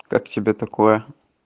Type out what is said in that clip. как тебе такое